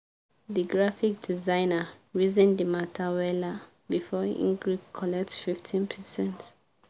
the graphic designer reason the matter weller before e gree collect 15%